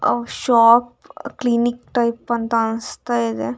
ಅವ್ shop clinic type ಅಂತ ಅನ್ಸ್‌ತಾ ಇದೆ.